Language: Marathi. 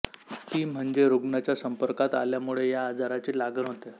ती म्हणजे रुग्णाच्या संपर्कात आल्यामुळे या आजाराची लागण होते